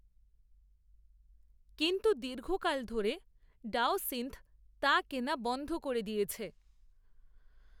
কিন্ত্ত দীর্ঘ কাল ধরে, ডাওসিন্থ, তা কেনা বন‌ধ করে দিয়েছে